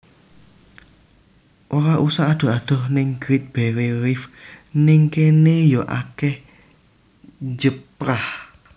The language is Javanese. Ora usah adoh adoh ning Great Barrier Reef ning kene yo akeh njeprah